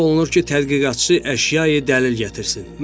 Tələb olunur ki, tədqiqatçı əşyayı dəlil gətirsin.